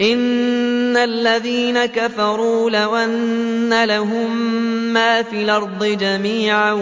إِنَّ الَّذِينَ كَفَرُوا لَوْ أَنَّ لَهُم مَّا فِي الْأَرْضِ جَمِيعًا